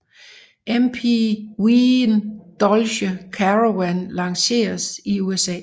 MPVen Dodge Caravan lanceres i USA